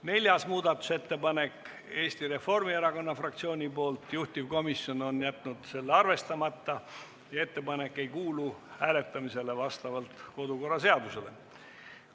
Neljas muudatusettepanek, Eesti Reformierakonna fraktsiooni esitatud, juhtivkomisjon on jätnud selle arvestamata ja vastavalt kodukorraseadusele ei kuulu ettepanek hääletamisele.